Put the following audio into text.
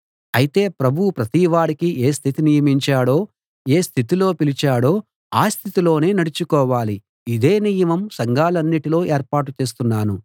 అయితే ప్రభువు ప్రతివాడికీ ఏ స్థితి నియమించాడో ఏ స్థితిలో పిలిచాడో ఆ స్థితిలోనే నడుచుకోవాలి ఇదే నియమం సంఘాలన్నిటిలో ఏర్పాటు చేస్తున్నాను